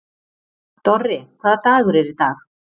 Dorri, hvaða dagur er í dag?